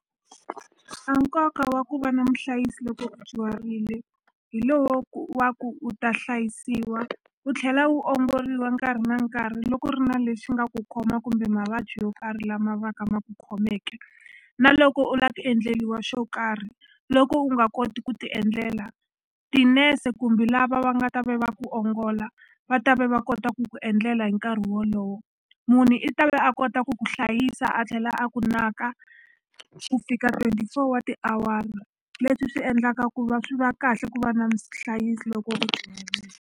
A nkoka wa ku va na muhlayisi loko u dyuharile hi lowo ku wa ku u ta hlayisiwa u tlhela wu ongoriwa nkarhi na nkarhi loko u ri na lexi nga ku khoma kumbe mavabyi yo karhi lama va ka ma ku khomeke na loko u la ku endleliwa xo karhi loko u nga koti ku ti endlela tinese kumbe lava va nga ta ve va ku ongola va ta ve va kota ku ku endlela hi nkarhi wolowo munhu i ta ve a kota ku ku hlayisa a tlhela a ku naka ku fika twenty four wa tiawara leswi swi endlaka ku va swi va kahle ku va na loko u .